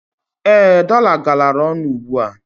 Ee, dọla galara ọnụ ugbua.